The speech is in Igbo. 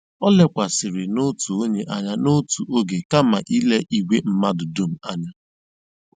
O lekwasịrị n'otu onye anya n'otu oge kama ile igwe mmadụ dum anya.